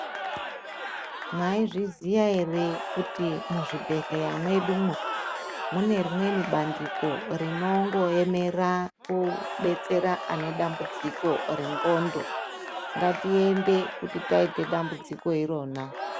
Mwaizviziya ere kuti muzvibhehleya mwedumo mune rimweni bandiko rinongoemera kudetsera ane dambudziko rendxondo . Ngatiende kuti taite dambudziko irona.